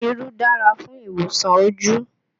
Irú dára fún ìwòsàn ojú